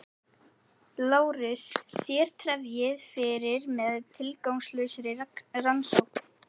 LÁRUS: Þér tefjið fyrir með tilgangslausri rannsókn.